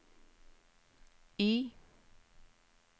Y